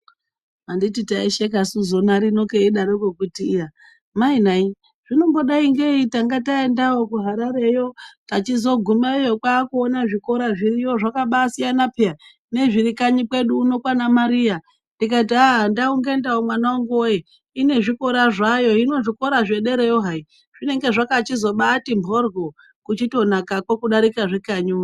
Anditi taisheka su zona rino keidaro ko kuti iya mainai zvinombodai ngeyi tange taendawo kuHarare yo tachizogumayo kwaakuona zvikora zviriyo zvakabasiyana pheyana nezviri kanyi kwedu kuno kwaana Mariya ndikati aaa ndau ngendau mwanangu woyee ine zvikora zvayo. hino zvikora zvederayo hai zvinenge zvakachizobaati mborwo kutichitonakako kudarika zvekanyi uno.